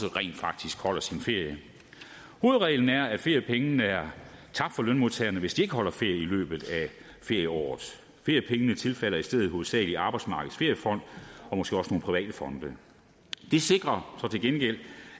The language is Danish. rent faktisk holder sin ferie hovedreglen er at feriepengene er tabt for lønmodtagerne hvis de ikke holder ferie i løbet af ferieåret feriepengene tilfalder i stedet hovedsageligt arbejdsmarkedets feriefond og måske også nogle private fonde det sikrer så til gengæld